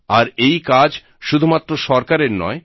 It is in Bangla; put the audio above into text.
আর এই কাজ শুধুমাত্র সরকারের নয়